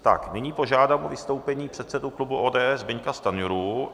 Tak nyní požádám o vystoupení předsedu klubu ODS Zbyňka Stanjuru.